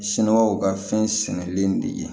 Siniwaw ka fɛn sɛnɛnen de ye